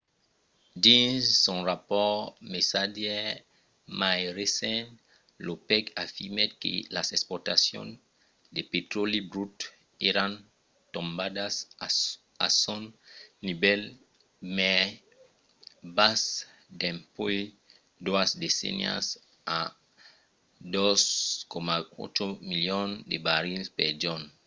dins son rapòrt mesadièr mai recent l’opec afirmèt que las exportacions de petròli brut èran tombadas a son nivèl mai bas dempuèi doas decennias a 2,8 milions de barrils per jorn